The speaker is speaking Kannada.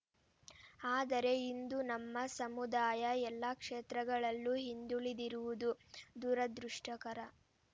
ಆದರೆ ಇಂದು ನಮ್ಮ ಸಮುದಾಯ ಎಲ್ಲ ಕ್ಷೇತ್ರಗಳಲ್ಲೂ ಹಿಂದುಳಿದಿರುವುದು ದುರದೃಷ್ಟಕರ